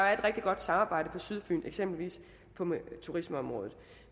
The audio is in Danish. er et rigtig godt samarbejde på sydfyn eksempelvis på turismeområdet